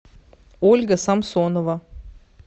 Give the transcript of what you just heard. ольга самсонова